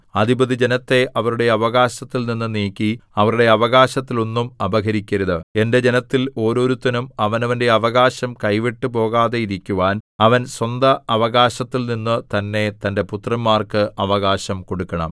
അധിപതി ജനത്തെ അവരുടെ അവകാശത്തിൽനിന്നു നീക്കി അവരുടെ അവകാശത്തിലൊന്നും അപഹരിക്കരുത് എന്റെ ജനത്തിൽ ഓരോരുത്തനും അവനവന്റെ അവകാശം കൈവിട്ടു പോകാതെയിരിക്കുവാൻ അവൻ സ്വന്തഅവകാശത്തിൽനിന്നു തന്നെ തന്റെ പുത്രന്മാർക്ക് അവകാശം കൊടുക്കണം